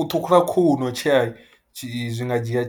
U ṱhukhula khuhu no tshea tshi, zwi nga dzhia